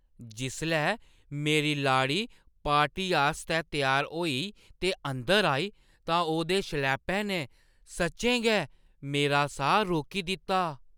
जिसलै मेरी लाड़ी पार्टी आस्तै त्यार होई ते अंदर आई, तां ओह्‌दे शलैपे ने सच्चैं गै मेरा साह् रोकी दित्ता।